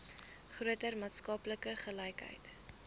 groter maatskaplike gelykheid